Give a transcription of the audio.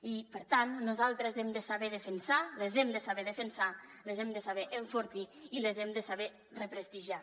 i per tant nosaltres hem de saber defensar les hem de saber defensar les hem de saber enfortir i les hem de saber represtigiar